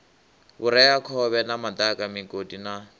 vhureakhovhe na madaka migodi na